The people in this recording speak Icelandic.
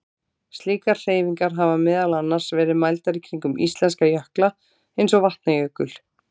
Slíkar hreyfingar hafa meðal annars verið mældar kringum íslenska jökla eins og Vatnajökul.